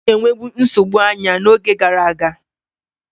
Ọ na-enwebu nsogbu anya n'oge gara aga.